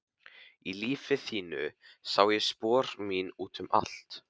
Í lífi þínu sá ég spor mín út um allt.